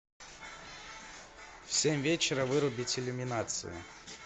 в семь вечера вырубить иллюминацию